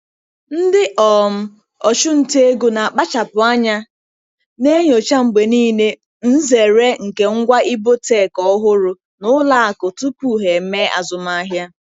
Ndị um ọchụnta ego na-akpachapụ anya na-enyocha mgbe niile nzere nke ngwa ibotech ọhụrụ na ụlọ akụ tupu ha eme azụmahịa.